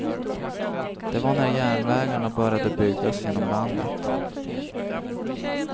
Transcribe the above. Det var när järnvägarna började byggas genom landet.